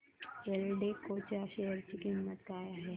एल्डेको च्या शेअर ची किंमत काय आहे